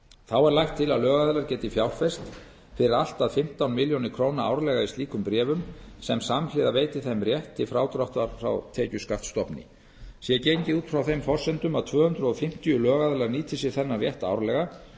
þá er lagt til að lögaðilar geti fjárfest fyrir allt að fimmtán milljónir króna árlega í slíkum bréfum sem samhliða veiti þeim rétt til frádráttar frá tekjuskattsstofni sé gengið út frá þeim forsendum að tvö hundruð fimmtíu lögaðilar nýti sér þennan rétt árlega